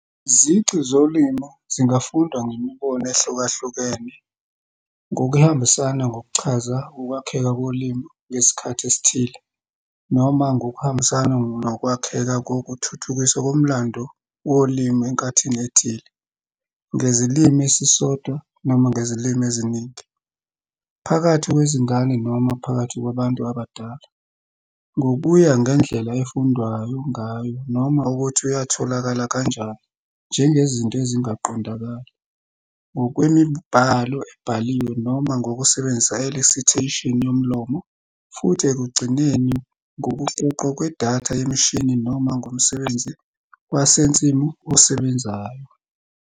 Izici zolimi zingafundwa ngemibono ehlukahlukene, ngokuhambisana ngokuchaza ukwakheka kolimi ngesikhathi esithile noma ngokuhambisana nokwakheka ngokuthuthukiswa komlando wolimi enkathini ethile, ngezilimi esisodwa noma ngezilimi eziningi, phakathi kwezingane noma phakathi kwabantu abadala, ngokuya ngendlela efundwayo ngayo noma ukuthi yatholakala kanjani, njengezinto ezingaqondakali, ngokwemibhalo ebhaliwe noma ngokusebenzisa i-elicitation yomlomo, futhi ekugcineni ngokuqoqwa kwedatha yemishini noma ngomsebenzi wasensimu osebenzayo.